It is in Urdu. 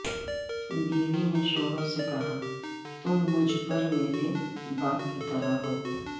بیوی نے شوہر سے کہا تم مجھ پر میرے باپ کی طرح ہو